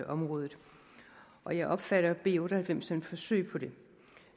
området og jeg opfatter b otte og halvfems som et forsøg på det